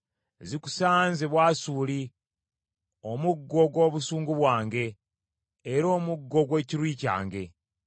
“Zikusanze Bwasuli, omuggo gw’obusungu bwange, era omuggo gw’ekiruyi kyange.